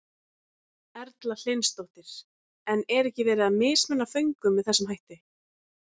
Erla Hlynsdóttir: En er ekki verið að mismuna föngum með þessum hætti?